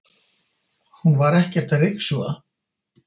Hún var ekkert að ryksuga.